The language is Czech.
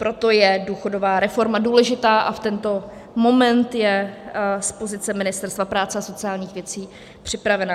Proto je důchodová reforma důležitá a v tento moment je z pozice Ministerstva práce a sociálních věcí připravena.